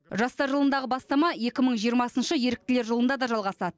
жастар жылындағы бастама екі мың жиырмасыншы еріктілер жылында да жалғасады